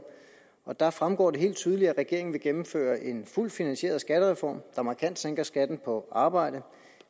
og deraf fremgår det helt tydeligt at regeringen vil gennemføre en fuldt finansieret skattereform der markant sænker skatten på arbejde